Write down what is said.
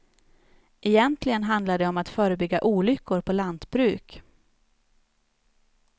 Egentligen handlar det om att förebygga olyckor på lantbruk.